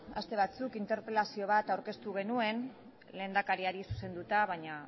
aste batzuk interpelazio bat aurkeztu genuen lehendakariari zuzenduta baina